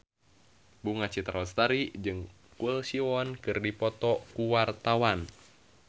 Bunga Citra Lestari jeung Choi Siwon keur dipoto ku wartawan